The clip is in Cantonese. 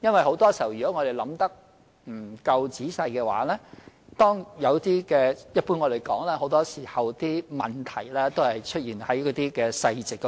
很多時候，如果我們想得不夠仔細的話，便會出問題，正如大家常說，問題一般出現在細節中。